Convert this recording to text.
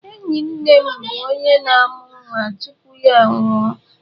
Enyi nne m bụ onye na-amụ nwa tupu ya anwụọ